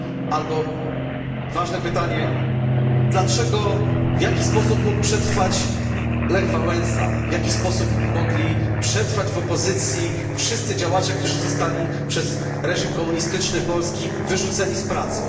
Albo ważne pytanie, w jaki sposób mógł przetrwać Lech Wałęsa, w jaki sposób mogli przetrwać w opozycji wszyscy działacze, którzy zostali przez reżim komunistyczny Polski wyrzuceni z pracy?